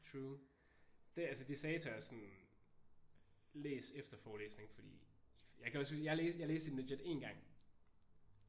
True det er altså de sagde til os sådan læs efter forelæsningen fordi jeg kan også huske jeg læste jeg læste i den legit én gang